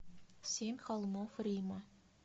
семь холмов рима